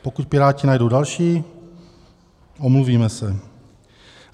Pokud Piráti najdou další, omluvíme se.